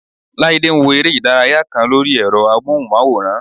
Láídé ń wo eré ìdárayá kan lórí ẹ̀rọ amóhùnmáwòrán